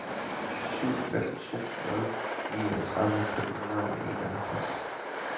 syv fem to nul niogtredive fem hundrede og enoghalvtreds